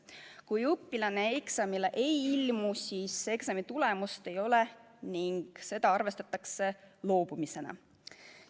Kui õpilane eksamile ei ilmu, siis eksami tulemust ei ole ning seda arvestatakse loobumisena.